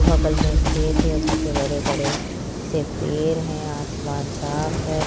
बगल में खेत है पीछे बड़े-बड़े से पेड़ है आसमान साफ है।